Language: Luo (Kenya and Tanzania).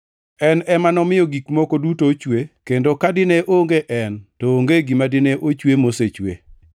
En ema nomiyo gik moko duto ochwe; kendo ka dine onge en, to onge gima dine ochwe mosechwe.